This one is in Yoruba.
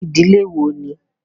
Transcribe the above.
Irú ìdílé wo ni?